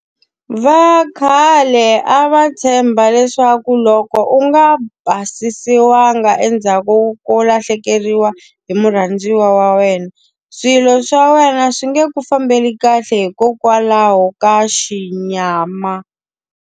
Va khale a va tshemba leswaku loko u nga basisiwanga endzhaku ko lahlekeriwa hi murhandziwa wa wena, swilo swa wena swi nge ku fambeli kahle hikokwalaho ka xinyama.